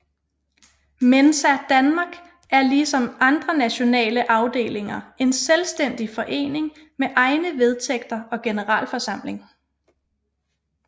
Mensa Danmark er lige som andre nationale afdelinger en selvstændig forening med egne vedtægter og generalforsamling